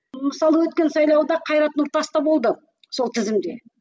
мысалы өткен сайлауда қайрат нұрттас та болды сол тізімде